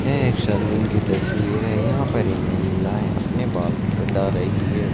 यह एक सलून की तस्वीर है यहां पर ये महिलाये अपने बाल कटा रही है।